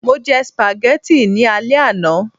mo je spaghetti ni ale àná